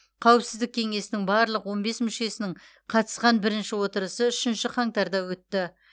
қауіпсіздік кеңесінің барлық он бес мүшесінің қатысқан бірінші отырысы үшінші қаңтарда өтті